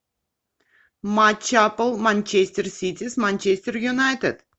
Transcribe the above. матч апл манчестер сити с манчестер юнайтед